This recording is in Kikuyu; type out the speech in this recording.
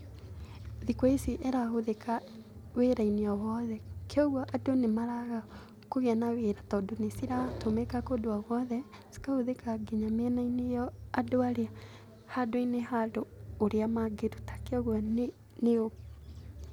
Thikũ ici ĩrahũthĩka wĩra-inĩ o wothe. Kogwo andũ nĩmaraga kũgĩa na wĩra tondũ nĩciratũmĩka kũndũ o gwothe, cikahũthĩka nginya mĩena-inĩ handũ-inĩ ha andũ ũrĩa mangĩruta. Kogwo ni...